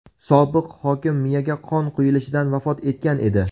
Sobiq hokim miyaga qon quyilishidan vafot etgan edi.